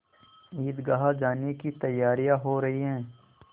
ईदगाह जाने की तैयारियाँ हो रही हैं